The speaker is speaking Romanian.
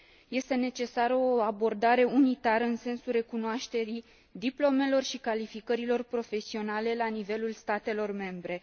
Este necesară o abordare unitară în sensul recunoașterii diplomelor și calificărilor profesionale la nivelul statelor membre.